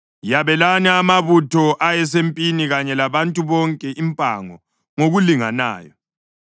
Yabelani amabutho ayesempini kanye labantu bonke impango ngokulinganayo.